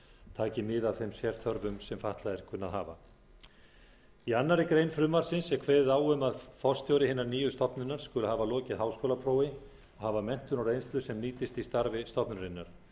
taki mið af þeim sérþörfum sem fatlaðir kunna að hafa í annarri grein frumvarpsins er kveðið á um að forstjóri hinnar nýju stofnunar skuli hafa lokið háskólaprófi og hafa menntun og reynslu sem nýtist í starfi stofnunarinnar